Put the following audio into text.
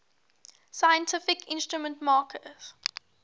scientific instrument makers